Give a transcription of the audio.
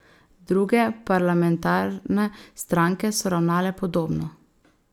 Druge parlamentarne stranke so ravnale podobno.